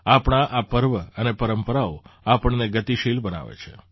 આપણા આ પર્વ અને પરંપરાઓ આપણને ગતિશીલ બનાવે છે